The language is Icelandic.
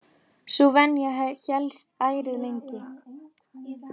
Sú venja hélst ærið lengi.